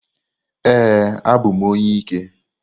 Ee, abụ m onye ike.